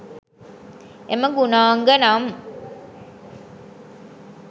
එම ගුණාංග නම්